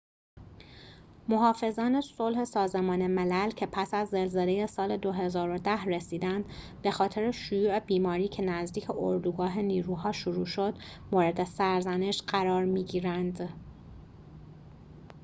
محافظان صلح سازمان ملل که پس از زلزله سال ۲۰۱۰ رسیدند بخاطر شیوع بیماری که نزدیک اردوگاه نیروها شروع شد مورد سرزنش قرار می‌گیرند